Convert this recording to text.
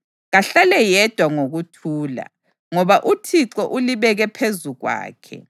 Kahlale yedwa ngokuthula, ngoba uThixo ulibeke phezu kwakhe.